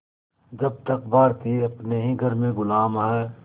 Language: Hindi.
जब तक भारतीय अपने ही घर में ग़ुलाम हैं